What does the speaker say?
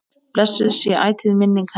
Blessuð sé ætíð minning hennar.